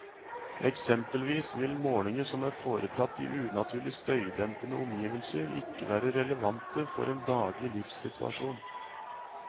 Eksempelvis vil målinger som er foretatt i unaturlig støydempede omgivelser ikke være relevante for en daglig livssituasjon.